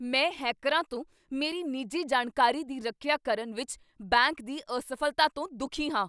ਮੈਂ ਹੈਕਰਾਂ ਤੋਂ ਮੇਰੀ ਨਿੱਜੀ ਜਾਣਕਾਰੀ ਦੀ ਰੱਖਿਆ ਕਰਨ ਵਿੱਚ ਬੈਂਕ ਦੀ ਅਸਫ਼ਲਤਾ ਤੋਂ ਦੁਖੀ ਹਾਂ।